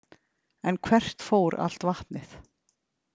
En hvert fór allt vatnið?